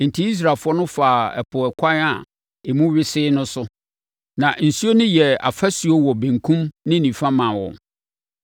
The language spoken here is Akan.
Enti Israelfoɔ no faa ɛpo ɛkwan a emu wesee no so. Na nsuo no yɛɛ afasuo wɔ benkum ne nifa maa wɔn.